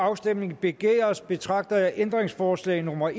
afstemning begæres betragter jeg ændringsforslag nummer